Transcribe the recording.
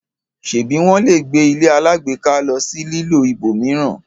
ṣebi wón lẹ gbé ilé alágbèéká ló sì lilọ ibòmíràn?